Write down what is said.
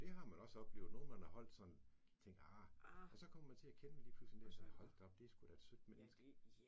Det har man også oplevet nogen man har holdt sådan tænkt ah, og så kommer man til at kende dem lige pludselig en dag, og siger hold da op, det er da et sødt menenske